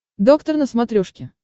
доктор на смотрешке